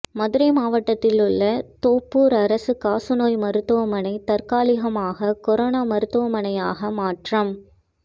மதுரை மாவட்டத்தில் உள்ள தோப்பூர் அரசு காசநோய் மருத்துவமனை தற்காலிகமாக கொரோனா மருத்துவமனையாக மாற்றம்